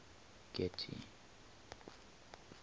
getty